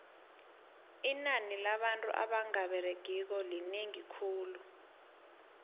inani labantu abanga beregiko linengi khulu